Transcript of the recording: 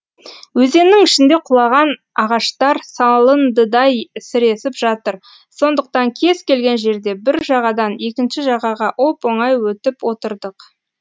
өзеннің ішінде құлаған ағаштар салындыдай сіресіп жатыр сондықтан кез келген жерде бір жағадан екінші жағаға оп оңай өтіп отырдық